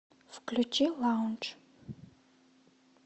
включи лаундж